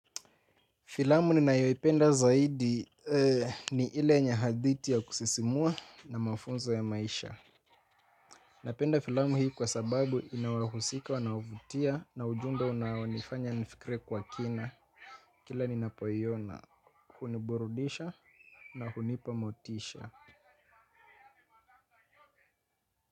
Filamu ninayoipenda zaidi ni ile yenye hadithi ya kusisimua na mafunzo ya maisha. Napenda filamu hii kwa sababu inawahusika wanaovutia na ujumbe unaonifanya nifikirie kwa kina. Kila ninapo iona, huniburudisha na hunipa motisha.